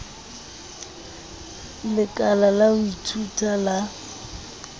lekala la ho ithuta la